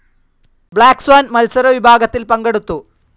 Black swan മത്സര വിഭാഗത്തിൽ പങ്കെടുത്തു.